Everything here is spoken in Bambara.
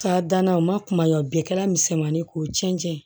Ka danna o ma kuma ye wa bi kɛra misɛmanin ye k'o cɛncɛn ye